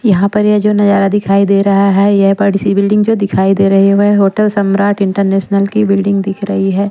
यहाँ पर ये जो नजारा दिखाई दे रहा है यह बड़ी-सी बिल्डिंग जो दिखाई दे रही है वह होटल सम्राट इंटरनेशनल की बिल्डिंग दिख रही है।